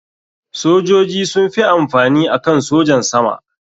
Sojoji sun fi amfani akan sojan sama.